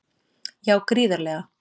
Já gríðarlega.